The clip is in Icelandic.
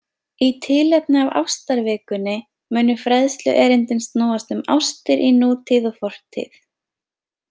Í tilefni af ástarvikunni munu fræðsluerindin snúast um ástir í nútíð og fortíð.